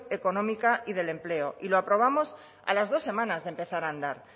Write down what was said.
económica y del empleo y lo aprobamos a las dos semanas de empezar a andar